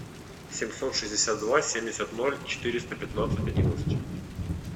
семьсот шестьдесят два семьдесят ноль четыреста пятнадцать одиннадцать